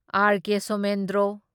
R. K Somendro